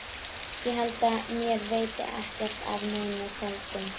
Ég held mér veiti ekkert af einum köldum.